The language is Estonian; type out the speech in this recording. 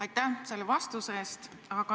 Aitäh selle vastuse eest!